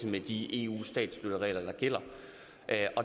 med de eu statsstøtteregler der gælder